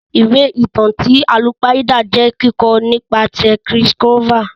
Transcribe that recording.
Ìwé ìtàn ti àlùpàídà jẹ kikọ nìpasẹ̀ Chris Colfer.